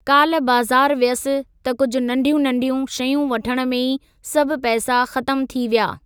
काल्ह बज़ारि वियसि त कुझु नंढियूं नंढियूं , शयूं वठणु में ई सभु पैसा ख़त्म थी विया।